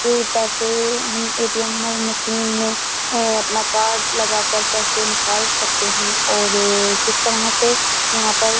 पैसे हम ATM machine में अपना कार्ड लगाकर पैसे निकाल सकते हैं और जिस तरह से यहाँ पर --